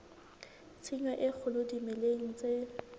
tshenyo e kgolo dimeleng tse